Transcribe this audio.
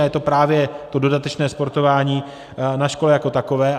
A je to právě to dodatečné sportování na škole jako takové.